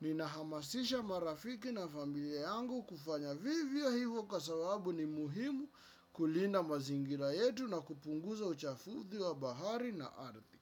Ninahamasisha marafiki na familia yangu kufanya vivyo hivyo kwa sababu ni muhimu kulinda mazingira yetu na kupunguza uchafuzi wa bahari na ardhi.